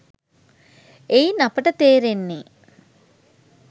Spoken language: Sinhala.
එයින් අපට තේරෙන්නේ